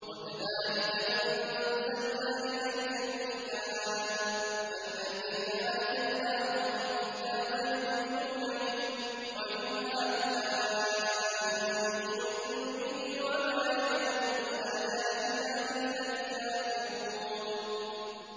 وَكَذَٰلِكَ أَنزَلْنَا إِلَيْكَ الْكِتَابَ ۚ فَالَّذِينَ آتَيْنَاهُمُ الْكِتَابَ يُؤْمِنُونَ بِهِ ۖ وَمِنْ هَٰؤُلَاءِ مَن يُؤْمِنُ بِهِ ۚ وَمَا يَجْحَدُ بِآيَاتِنَا إِلَّا الْكَافِرُونَ